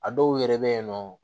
A dɔw yɛrɛ bɛ yen nɔ